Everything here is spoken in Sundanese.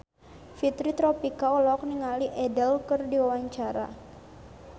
Fitri Tropika olohok ningali Adele keur diwawancara